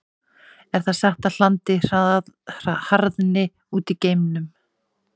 Er það satt að hlandið harðni út í geimnum?